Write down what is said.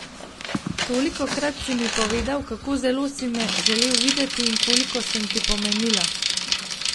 Tolikokrat si mi povedal, kako zelo si me želel videti in koliko sem ti pomenila.